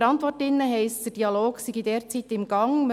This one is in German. – In der Antwort steht, der Dialog sei derzeit in Gang.